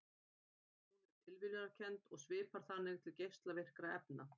Hún er tilviljunarkennd og svipar þannig til geislavirkni efna.